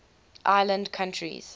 island countries